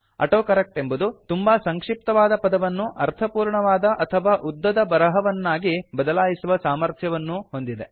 autocorrect ಎಂಬುದು ತುಂಬಾ ಸಂಕ್ಷಿಪ್ತವಾದ ಪದವನ್ನು ಅರ್ಥಪೂರ್ಣವಾದ ಅಥವಾ ಉದ್ದದ ಬರಹವನ್ನಾ ಬದಲಾಯಿಸುವ ಸಾಮರ್ಥ್ಯವನ್ನೂ ಹೊಂದಿದೆ